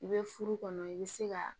I bɛ furu kɔnɔ i bɛ se ka